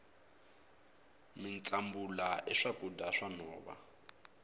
mitsumbula i swakudya swa nhova